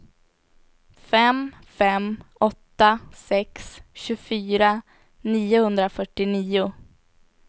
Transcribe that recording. fem fem åtta sex tjugofyra niohundrafyrtionio